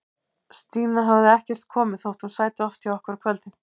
Stína hafði ekkert komið, þótt hún sæti oft hjá okkur á kvöldin.